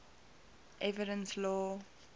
evidence law